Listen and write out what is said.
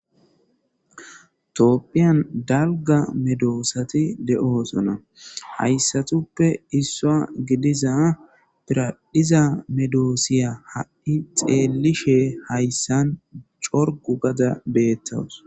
toopphiyan dalga medoosati de7oosona hayssatuppe issua gidiza piradhiza medoosiya ha7i xeelishe hayssan corgu gada beettawus